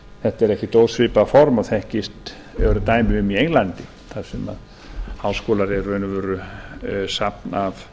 þetta er ekkert ósvipað form og þekkist og eru dæmi um í englandi þar sem háskólar eru í raun og veru safn af